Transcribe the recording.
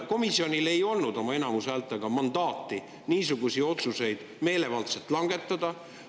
Komisjonil ei olnud oma häälteenamusega mandaati niisuguseid otsuseid meelevaldselt langetada.